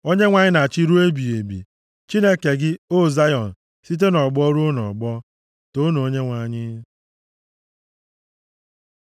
Onyenwe anyị na-achị ruo ebighị ebi, Chineke gị, o Zayọn, site nʼọgbọ ruo nʼọgbọ. Toonu Onyenwe anyị.